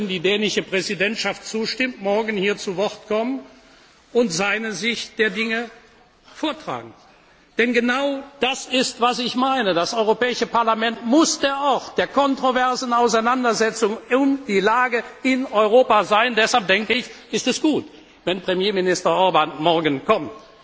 Er sollte, wenn die dänische Präsidentschaft zustimmt, morgen hier zu Wort kommen und seine Sicht der Dinge vortragen. Denn genau das ist, was ich meine Das Europäische Parlament muss der Ort der kontroversen Auseinandersetzung um die Lage in Europa sein. Deshalb, denke ich, ist es gut, wenn Premierminister Orbán morgen